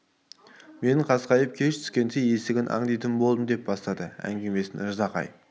мен қасқайып кеш түсісімен есігін аңдитын болдым деп бастады әңгімесін ждақай